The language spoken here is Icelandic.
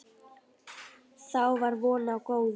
Þá var von á góðu.